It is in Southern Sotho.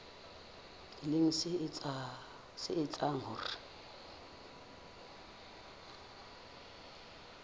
e leng se etsang hore